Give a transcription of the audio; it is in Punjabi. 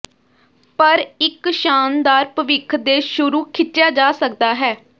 ਪਰ ਇਕ ਸ਼ਾਨਦਾਰ ਭਵਿੱਖ ਦੇ ਸ਼ੁਰੂ ਖਿੱਚਿਆ ਜਾ ਸਕਦਾ ਹੈ